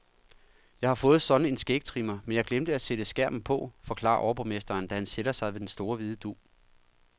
Jeg har fået sådan en skægtrimmer, men jeg glemte at sætte skærmen på, forklarer overborgmesteren, da han sætter sig ved den store hvide dug.